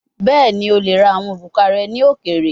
Bẹẹni, o le ra awọn oruka rẹ ni okeere